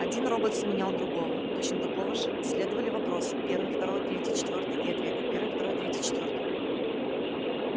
один робот сменял другого точно такого же следовали вопросы первый второй третий четвёртый и ответы первый второй третий четвёртый